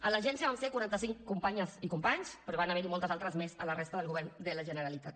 a l’agència vam ser quaranta cinc companyes i companys però n’hi van haver moltes altres més a la resta del govern de la generalitat